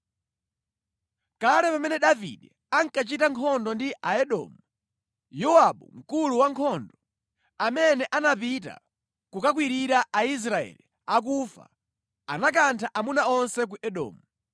Kale pamene Davide ankachita nkhondo ndi Aedomu, Yowabu mkulu wa ankhondo, amene anapita kukakwirira Aisraeli akufa, anakantha amuna onse ku Edomu.